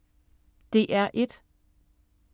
DR1